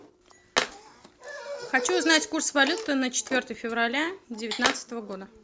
хочу узнать курс валюты на четвертое февраля девятнадцатого года